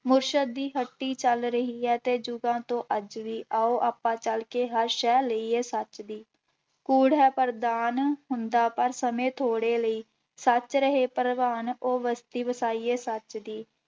ਮੁਰਸ਼ਦ ਦੀ ਹੱਟੀ ਚੱਲ ਰਹੀ ਹੈ ਤੇ ਜੁਗਾਂ ਤੋਂ ਅੱਜ ਵੀ, ਆਓ ਆਪਾਂ ਚੱਲਕੇ ਹਰ ਸਹਿ ਲਈਏ ਸੱਚ ਦੀ, ਕੂੜ ਹੈ ਪ੍ਰਧਾਨ ਹੁੰਦਾ ਪਰ ਸਮੇਂ ਥੋੜ੍ਹੇ ਲਈ, ਸੱਚ ਰਹੇ ਪ੍ਰਵਾਨ ਉਹ ਬਸਤੀ ਵਸਾਈਏ ਸੱਚ ਦੀ।